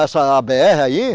Essa a bê erre aí?